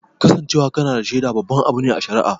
Kasancewa kana da shaida babban abu ne a shari'a